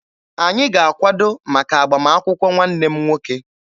Anyị ga-akwado maka agbamakwụkwọ nwanne m nwoke.